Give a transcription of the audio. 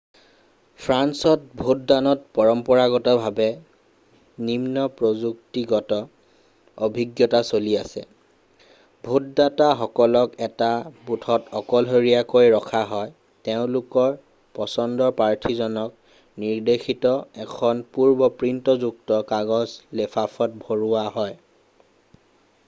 ফ্ৰান্সত ভোটদানত পৰম্পৰাগতভাৱে নিম্ন-প্ৰযুক্তিগত অভিজ্ঞতা চলি আছে ভোটদাতাসকলক এটা বুথত অকলশৰীয়াকৈ ৰখা হয় তেওঁলোকৰ পচন্দৰ প্ৰাৰ্থীজনক নিৰ্দেশিত এখন পূৰ্ব-প্ৰিণ্টযুক্ত কাগজ লেফাফাত ভৰোৱা হয়